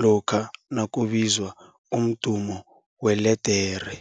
lokha nakubizwa umdumo weledere.